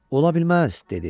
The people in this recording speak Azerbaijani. "Ola bilməz" dedi.